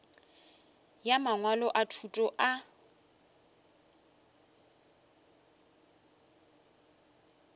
ya mangwalo a thuto a